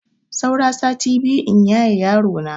Saura sati biyu in yaye yarona.